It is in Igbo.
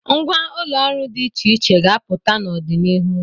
Ngwa ụlọ ọrụ dị iche iche ga-apụta n'ọdịnihu.